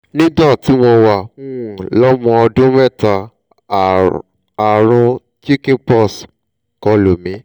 nígbà tí mo wà um lọ́mọ ọdún mẹ́ta ààrùn chicken pox kọlù mí